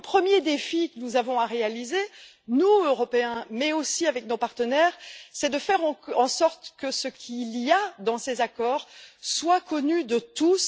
Le premier défi que nous devons donc relever, nous Européens mais aussi avec nos partenaires, c'est de faire en sorte que ce qu'il y a dans ces accords soit connu de tous